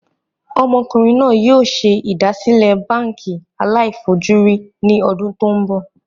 Ọmọkùnrin náà yìí o ṣe ìdásílẹ́ báànkì aláì fojú rí ní ọdún tòun bọ̀